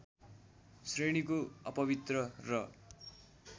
श्रेणीको अपवित्र र